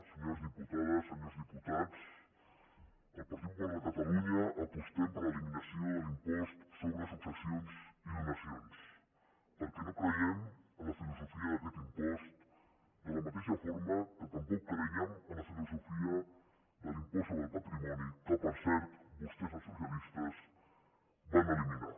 senyores diputades senyors diputats el partit popular de catalunya apostem per l’eliminació de l’impost sobre successions i donacions perquè no creiem en la filosofia d’aquest impost de la mateixa forma que tampoc crèiem amb la filosofia de l’impost sobre el patrimoni que per cert vostès els socialistes van eliminar